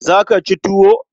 Za ka ci tuwo?